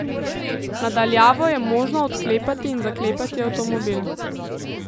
Na daljavo je možno odklepati in zaklepati avtomobil.